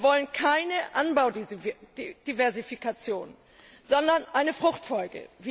Wir wollen keine Anbaudiversifikation, sondern eine Fruchtfolge.